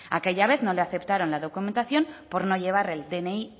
aquella vez no le aceptaron la documentación por no llevar el dni